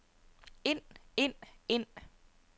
ind ind ind